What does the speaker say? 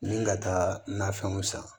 Ni ka taa nafɛnw san